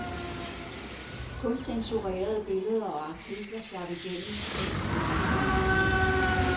Kun censurerede billeder og artikler slap igennem, mens kampene rasede.